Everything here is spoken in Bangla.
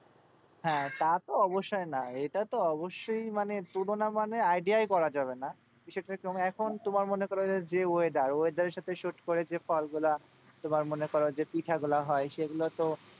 হ্যাঁ তা তো অবশ্যই না, এটা তো অবশ্যই মানে তুলনা মানে idea ই করা যাবে না। তো সেরকম এখন তোমার মনে করো যে weather weather এর সাথে suit করে যে ফলগুলা তোমার মনে করো যে পিঠাগুলা হয় সেগুলো তো,